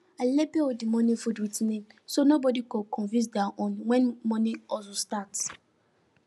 i label all the morning food with name so nobody go confuse their own when morning hustle start